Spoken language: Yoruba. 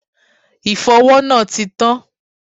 Ìfọwọ́ náà ti tán.